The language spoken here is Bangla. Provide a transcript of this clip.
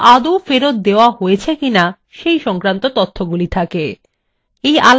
এই আলাদা আলাদা অংশগুলিকে attributes বা বৈশিষ্ট্যাবলী বলা হয়